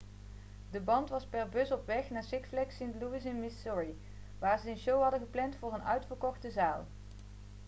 de band was per bus op weg naar six flags st. louis in missouri waar ze een show hadden gepland voor een uitverkochte zaal